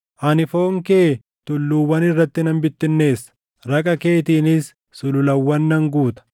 Ani foon kee tulluuwwan irratti nan bittinneessa; raqa keetiinis sululawwan nan guuta.